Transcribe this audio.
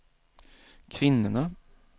kvinnorna